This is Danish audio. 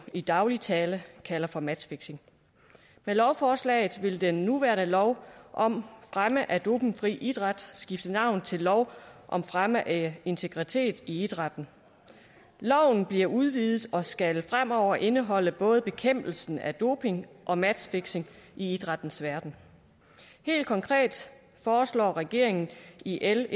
i daglig tale kalder for matchfixing med lovforslaget vil den nuværende lov om fremme af dopingfri idræt skifte navn til lov om fremme af integritet i idrætten loven bliver udvidet og skal fremover indeholde både bekæmpelse af doping og matchfixing i idrættens verden helt konkret foreslår regeringen i l